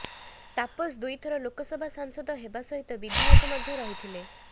ତାପସ ଦୁଇ ଥର ଲୋକସଭା ସାଂସଦ ହେବା ସହିତ ବିଧାୟକ ମଧ୍ୟ ରହିଥିଲେ